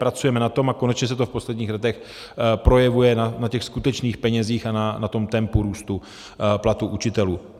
Pracujeme na tom a konečně se to v posledních letech projevuje na těch skutečných penězích a na tom tempu růstu platů učitelů.